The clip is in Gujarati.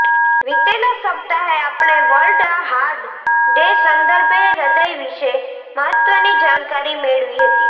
વીતેલા સપ્તાહે આપણે વર્લ્ડ હાર્ટ ડે સંદર્ભે હૃદય વિશે મહત્ત્વની જાણકારી મેળવી હતી